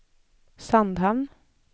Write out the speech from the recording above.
Sandhamn